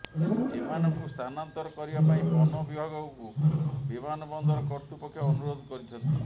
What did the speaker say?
ଏମାନଙ୍କୁ ସ୍ଥାନାନ୍ତର କରିବା ପାଇଁ ବନ ବିଭାଗକୁ ବିମାନବନ୍ଦର କର୍ତ୍ତୃପକ୍ଷ ଅନୁରୋଧ କରିଛନ୍ତି